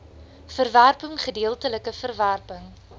verwerping gedeeltelike verwerping